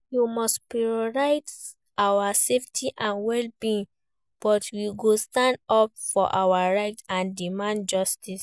We must prioritize our safety and well-being but we go stand up for our rights and demand justice.